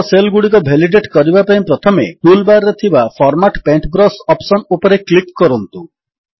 ତଳ ସେଲ୍ ଗୁଡ଼ିକ ଭେଲିଡେଟ୍ କରିବା ପାଇଁ ପ୍ରଥମେ ଟୁଲ୍ ବାର୍ ରେ ଥିବା ଫର୍ମାଟ୍ ପେଣ୍ଟବ୍ରଶ ଅପ୍ସନ୍ ଉପରେ କ୍ଲିକ୍ କରନ୍ତୁ